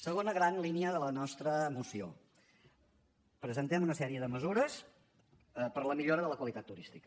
segona gran línia de la nostra moció presentem una sèrie de mesures per a la millora de la qualitat turística